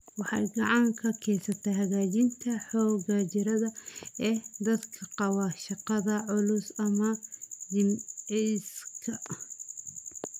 Waxay gacan ka geysataa hagaajinta xoogga jireed ee dadka qaba shaqada culus ama jimicsiga.